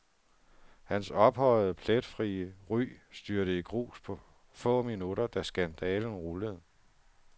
Hans ophøjede, pletfrie ry styrtede i grus på få minutter, da skandalen rullede.